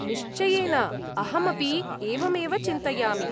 निश्चयेन, अहमपि एवमेव चिन्तयामि।